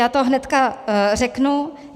Já to hnedka řeknu.